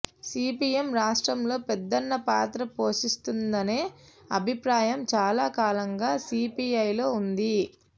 CPM రాష్ట్రంలో పెద్దన్న పాత్ర పోషిస్తుందనే అభిప్రాయం చాలా కాలంగా సిపిఐలో ఉంది